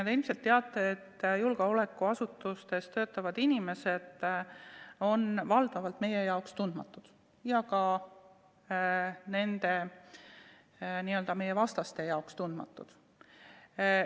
Te ilmselt teate, et julgeolekuasutustes töötavad inimesed on meie jaoks valdavalt tundmatud ja ka meie n-ö vastaste jaoks tundmatud.